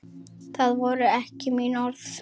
Það voru ekki mín orð.